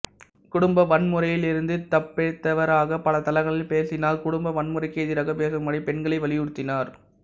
குடும்ப வன்முறையில் இருந்து தப்பிப்பிழைத்தவராக பல தளங்களில் பேசினார் குடும்ப வன்முறைக்கு எதிராகப் பேசும்படி பெண்களை வலியுறுத்தினார்